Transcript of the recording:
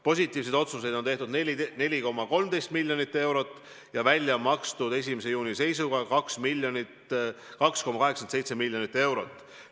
Positiivseid otsuseid on tehtud 4,13 miljoni euro ulatuses ja välja on makstud 1. juuni seisuga 2,87 miljonit eurot.